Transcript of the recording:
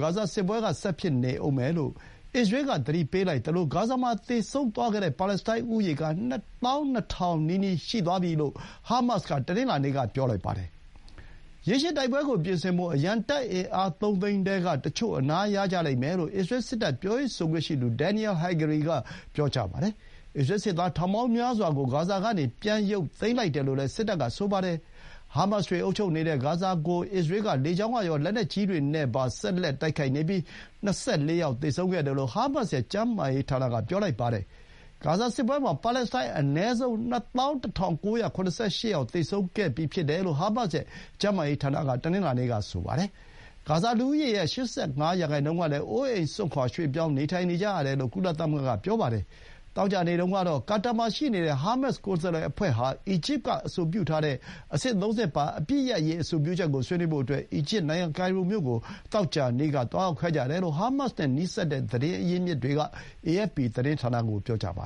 ဂါဇာစစ်ပွဲက ဆက်နေဦးမယ်လို့ အစ္စရေးက သတိပေးလိုက်သလို ဂါဇာမှာ သေဆုံးသွားတဲ့ ပါလက်စတိုင်းဦးရေက ၂,၂၀၀၀ နားနီးသွားပြီလို့ ဟာမတ်စ်က တနင်္လာနေ့က ပြောလိုက်ပါတယ်။ ရေရှည်တိုက်ပွဲကိုပြင်ဆင်ဖို့ အရံတပ်အင်အား သုံးသိန်းထဲက တချို့ အနားရကြလိမ့်မယ်လို့ အစ္စရေး စစ်တပ် ပြောရေးဆိုခွင့်ရှိသူ ဒင်န်နီယယ် ဟဂရီ က ပြောပါတယ်။ အစ္စရေး စစ်သား ထောင်ပေါင်းများစွာကို ဂါဇာကနေ ပြန်ရုပ်သိမ်းလိုက်တယ်လို့လည်း စစ်တပ်က ဆိုပါတယ်။ ဟာမတ်စ်တွေ အုပ်ချုပ်နေတဲ့ ဂါဇာကို အစ္စရေးက လေကြောင်းကရော၊ လက်နက်ကြီးတွေနဲ့ပါ ဆက်လက် တိုက်ခိုက်နေပြီး ၂၄ ယောက် သေဆုံးခဲ့တယ်လို့ ဟာမတ်စ်ရဲ့ကျန်းမာရေးဌာနက ဆိုပါတယ်။ ဟာမတ်စ်က အစ္စရေးကို အောက်တိုဘာ ၇ ရက်မှာ တိုက်ခဲ့ရာက ဖြစ်ပေါ် လာခဲ့တဲ့စစ်ပွဲမှာ ပါလက်စတိုင်း အနည်းဆုံး ၂၁,၉၇၈ ယောက် သေဆုံးခဲ့ပြီလို့ ဟာမတ်စ်ရဲ့ ကျန်းမာရေးဌာနက တနင်္လာနေ့က ပြောပါတယ်။ ဂါဇာလူဦးရေရဲ့ ၈၅ ရာနှုန်းကလည်း အိုးအိမ်စွန့်ခွါ ရွှေ့ပြောင်းနေထိုင်နေကြရတယ်လို့ ကုလသမဂ္ဂ က ဆိုပါတယ်။ သောကြာနေ့တုန်းကတော့ ကာတာမှာရှိနေတဲ့ ဟာမတ်စ် ကိုယ်စားလှယ်အဖွဲ့ဟာ အီဂျစ်က အဆိုပြုထားတဲ့ အဆင့် ၃ ဆင့်ပါ အပစ်ရပ်စဲရေး အဆိုပြုချက်ကို ဆွေးနွေးဖို့အတွက် အီဂျစ်နိုင်ငံ ကိုင်ရိုမြို့ကို သောကြာနေ့က သွားရောက်ခဲ့ကြတယ်လို့ ဟာမတ်စ်နဲ့ နီးစပ်တဲ့ သတင်းအရင်းအမြစ်တွေက အေအက်ဖ်ပီ သတင်းဌာနကို ပြောပါ